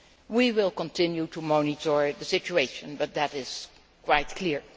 We will continue to monitor the situation, but that is quite clear.